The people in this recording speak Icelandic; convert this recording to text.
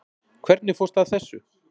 Hvernig fórstu að þessu?